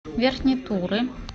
верхней туры